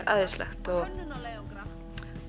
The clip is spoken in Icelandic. æðisleg